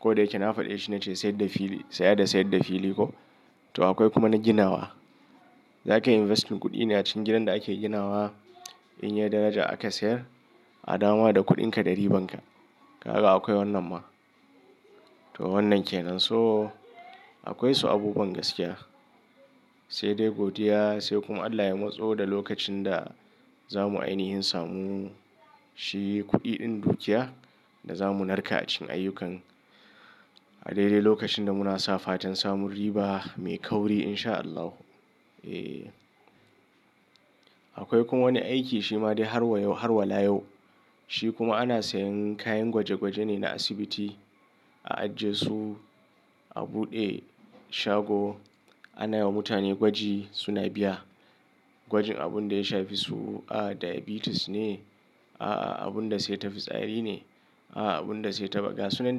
Ko da yake na faɗi shi na ce sayar da fili sayar da sayar da fili ko. To akwai kuma na ginawa. Za ka yi investment kuɗi na cikin gidan da ake ginawa in yai daraja aka sayar a dama da kuɗinka ɗari bankan. Kaga akwai wannan ma. To wannan kenan. So akwai su abubuwan gaskiya. Sai dai godiya sai kuma Allah ya matso da lokacin da za mu ainihin samu shi kuɗi ɗin dukiya da za mu narka a cikin ayyukan. A daidai lokacin da muna sa fatan samun riba mai kauri in sha Allahu. Eh akwai kuma wani aiki shi ma dai har wayau har walayau. Shi kuma ana sayan kayan gwaje gwaje ne na asibiti a ajiye su a buɗe shago ana yi wa mutane gwaji suna biya. Gwajin abun da ya shafi su a diabetes ne, a abun da sai tafi tsari ne, a abun da sai taɓa gas. Wannan duk.